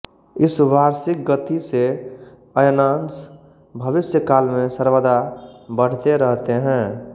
इस वार्षिक गति से अयनांश भविष्य काल में सर्वदा बढ़ते रहते हैं